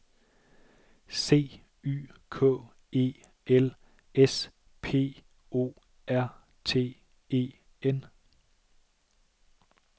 C Y K E L S P O R T E N